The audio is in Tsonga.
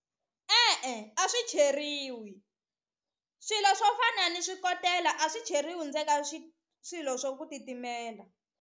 E-e a swi cheriwi swilo swo fana ni swikotela a swi cheriwi swilo swo ku titimela.